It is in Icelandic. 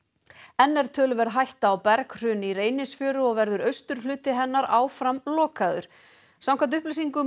enn er töluverð hætta á berghruni í Reynisfjöru og verður austurhluti hennar áfram lokaður samkvæmt upplýsingum